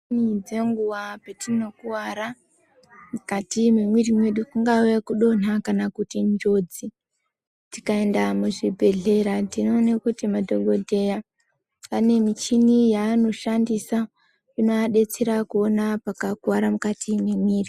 ...ni dzenguva petinokuvara mukati mwemwiiri mwedu kungave kudonha kana kuti njodzi. Tikaenda muzvibhedhlera tinoone kuti madhokodheya ane michini yaanoshandisa, inovadetsera kuona pakakuvara mukati mwemwiiri.